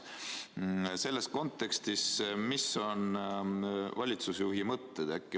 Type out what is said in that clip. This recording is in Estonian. Millised on selles kontekstis valitsusjuhi mõtted?